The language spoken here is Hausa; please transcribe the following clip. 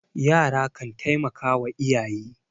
yara kan taimaka wa iyaye